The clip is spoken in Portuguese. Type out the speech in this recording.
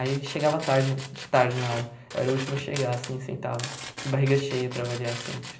Aí chegava tarde de tarde na aula, eu era o último a chegar, assim, sentava de barriga cheia para variar sempre.